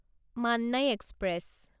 Mannai express